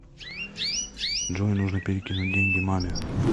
джой нужно перекинуть деньги маме